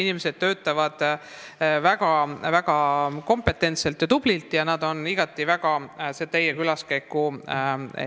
Nad töötavad väga kompetentselt ja tublilt ning ootavad igati teie külaskäiku.